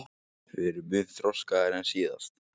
Við erum mun þroskaðri en síðast